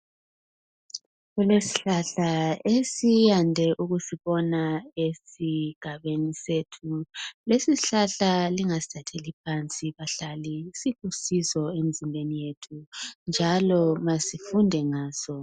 Kulesihlahla esiyande ukusibona esigabeni sethu lesi isihlahla lingasithatheli phansi bahlali silusizo emzimbeni yethu njalo masifunde ngaso.